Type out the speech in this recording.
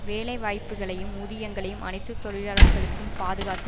வேலை வாய்ப்புக்களையும் ஊதியங்களையும் அனைத்து தொழிலாளர்களுக்கும் பாதுகாத்து